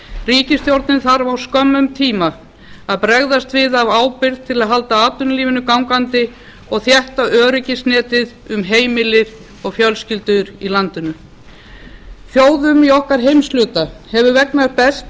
ríkisstjórnin þarf á skömmum tíma að bregðast við af ábyrgð til að halda atvinnulífinu gangandi og þétta öryggisnetið um heimili og fjölskyldurnar í landinu þjóðum í okkar heimshluta hefur vegnað best